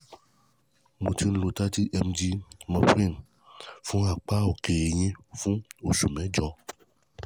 hi mo ti ń lo thirty mg morphine fún apá òkè ẹ̀yìn fún oṣù mẹ́jọ